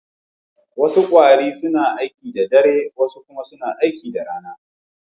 Wasu kwarare suna aiki da dare, wasu kuma suna aiki da rana.